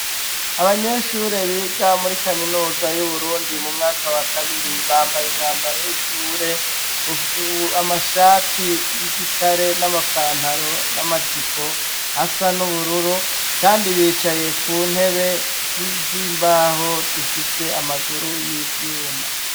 abanyeshure biga muri kaminuza y'uburundi mu mwaka wa kabiri bambaye umwambaro w'ishure amashati y'igitare n'amapantaro n'amajipo asa n'ubururu kandi bicaye ku ntebe z'imbaho zifise amaguru y'ivyuma